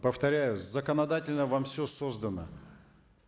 повторяю законодательно вам все создано